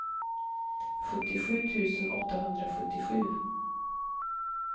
sjuttiosju tusen åttahundrasjuttiosju